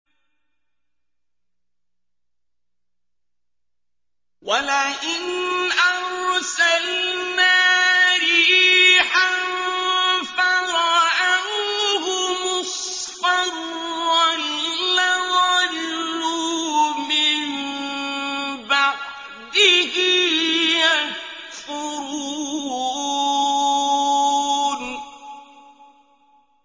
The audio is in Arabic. وَلَئِنْ أَرْسَلْنَا رِيحًا فَرَأَوْهُ مُصْفَرًّا لَّظَلُّوا مِن بَعْدِهِ يَكْفُرُونَ